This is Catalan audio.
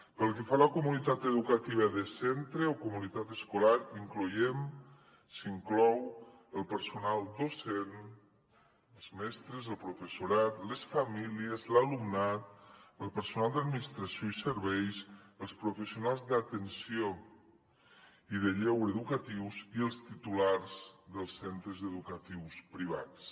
pel que fa a la comunitat educativa de centre o comunitat escolar hi incloem s’hi inclou el personal docent els mestres el professorat les famílies l’alumnat el personal d’administració i serveis els professionals d’atenció i de lleure educatius i els titulars dels centres educatius privats